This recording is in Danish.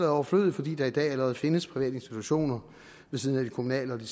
overflødigt fordi der i dag allerede findes private institutioner ved siden af de kommunale og de